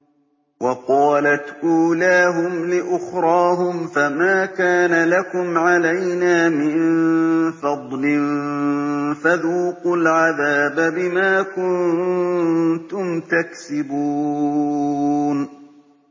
وَقَالَتْ أُولَاهُمْ لِأُخْرَاهُمْ فَمَا كَانَ لَكُمْ عَلَيْنَا مِن فَضْلٍ فَذُوقُوا الْعَذَابَ بِمَا كُنتُمْ تَكْسِبُونَ